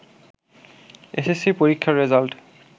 SSC পরীক্ষার result